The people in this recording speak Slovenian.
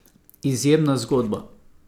Izjemna zgodba!